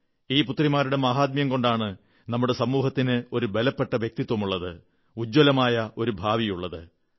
ഈ പുത്രിമാരുടെ മാഹാത്മ്യം കൊണ്ടാണ് നമ്മുടെ സമൂഹത്തിന് ഒരു ബലപ്പെട്ട വ്യക്തിത്വുമുള്ളത് ഉജ്ജ്വലമായ ഒരു ഭാവിയുള്ളത്